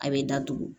A bɛ datugu